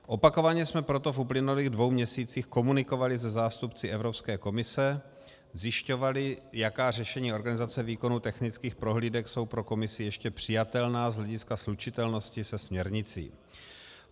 Opakovaně jsme proto v uplynulých dvou měsících komunikovali se zástupci Evropské komise, zjišťovali, jaká řešení organizace výkonu technických prohlídek jsou pro Komisi ještě přijatelná z hlediska slučitelnosti se směrnicí.